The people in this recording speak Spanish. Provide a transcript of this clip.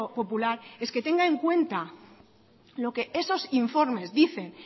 popular es que tenga en cuenta lo que esos informes dicen